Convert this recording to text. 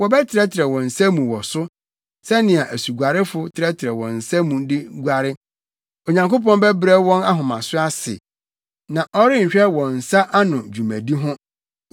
Wɔbɛtrɛtrɛw wɔn nsa mu wɔ so, sɛnea asuguarefo trɛtrɛw wɔn nsa mu de guare. Onyankopɔn bɛbrɛ wɔn ahomaso ase a ɔrenhwɛ wɔn nsa ano dwumadi ho.